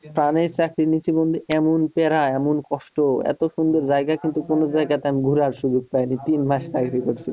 চাকরি নিছি বন্ধু এমন প্যারা এমন কষ্ট এত সুন্দর জায়গা কিন্তু কোন জায়গাতে আমি ঘোরার সুযোগ পায়নি তিন মাস চাকরি করছি